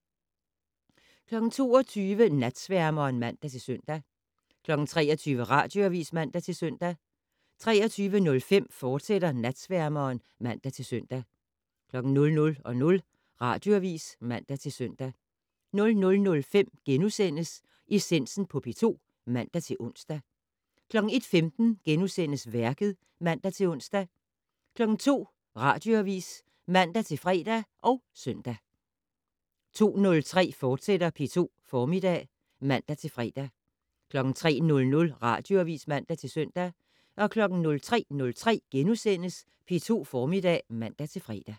22:00: Natsværmeren (man-søn) 23:00: Radioavis (man-søn) 23:05: Natsværmeren, fortsat (man-søn) 00:00: Radioavis (man-søn) 00:05: Essensen på P2 *(man-ons) 01:15: Værket *(man-ons) 02:00: Radioavis (man-fre og søn) 02:03: P2 Formiddag *(man-fre) 03:00: Radioavis (man-søn) 03:03: P2 Formiddag *(man-fre)